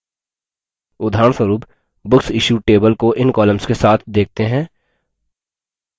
उदाहरणस्वरुप booksissued table को इन columns के साथ देखते हैं